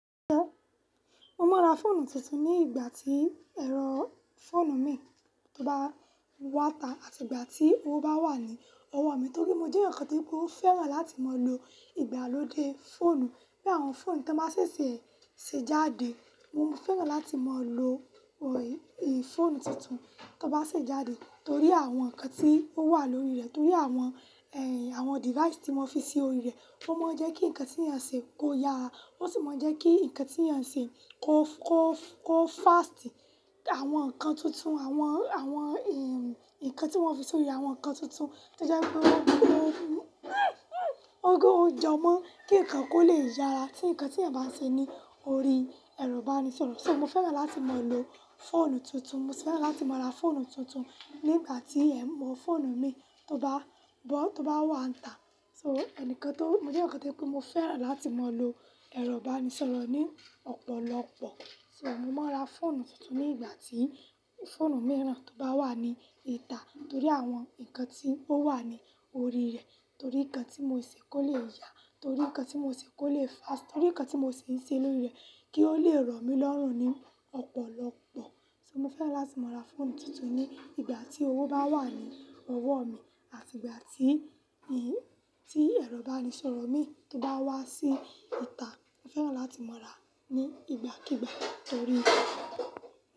Mo máa ra fóònù tuntun ní ìgbà tí ẹ̀rọ fóònù mi tó bá wà ta àti ìgbà tí owó bá wà ní ọwọ́ mi. Torí mo jẹ́ ǹkan tí mo fẹ́ràn láti máa lo ìgbàlódé fóònù. Bí àwọn fóònù bá ṣe é ṣe jáde, mo fẹ́ràn láti máa lo ì fóònù tuntun tó bá ṣe jáde torí àwọn ǹkan tí ó wà lórí rẹ̀, torí àwọn, ẹ́, àwọn device tí wọ́n fi sí orí rẹ̀, ó máa ń jẹ́ kí ǹkan tí èèyàn ṣe kó ya, ó sì máa ń jẹ́ kí ǹkan tí èèyàn ṣe kó, kó, kó fast. Àwọn ǹkan tuntun, àwọn, àwọn, ẹ́, ǹkan tí wọ́n fi sí orí rẹ̀, àwọn ǹkan tuntun tó jẹ́ pé wọ́n, wọ́n jọ mọ́ kí ǹkan kó lè yára tí ǹkan tí ẹ̀ bá ṣe ní orí ẹ̀rọ ìbánisọ̀rọ̀. So mo fẹ́ràn láti máa lo fóònù tuntun, mo sì fẹ́ràn láti máa ra fóònù tuntun ní ìgbà tí ẹ̀ mọ́ fóònù mi tó bá bọ́, tó bá wà níta. So ẹnìkan tó-- mo jẹ́ ǹkan tí mo fẹ́ràn láti máa lo ẹ̀rọ ìbánisọ̀rọ̀ ní ọ̀pọ̀lọpọ̀. So mo máa ra fóònù tuntun ní ìgbà tí fóònù mìíràn tó bá wà ní ìta torí àwọn ǹkan tí ó wà ní orí rẹ̀, torí ǹkan tí mo ṣe kó lè yá, torí ǹkan tí mo ṣe kó lè fast, torí ǹkan tí mo sì ń ṣe lórí rẹ̀ kí ó lè rọ̀ mí lọ́rùn ní ọ̀pọ̀lọpọ̀. So mo fẹ́ràn láti máa ra fóònù tuntun ní ìgbà tí owó bá wà ní ọwọ́ mi àti ìgbà tí, tí ẹ̀rọ ìbánisọ̀rọ̀ mi tó bá wá sí ìta. Mo fẹ́ràn láti máa rà á ní ìgbàkígbà torí.